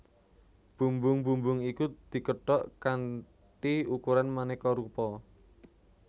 Bumbung bumbung iku dikethok kanthi ukuran manéka rupa